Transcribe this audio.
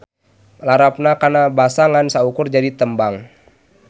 Larapna kana basa ngan saukur jadi tembang.